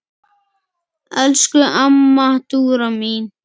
Elsku amma Dúra mín.